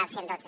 del cent i dotze